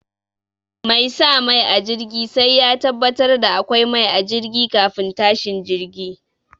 Mai sa mai a jirgi sai ya tabbatar da akwai mai a jirgi kafin tashin jirgi.